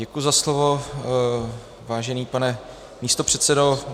Děkuji za slovo, vážený pane místopředsedo.